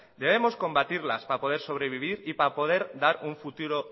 debemos combatirlas para poder sobrevivir y para poder dar un futuro